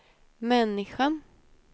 människan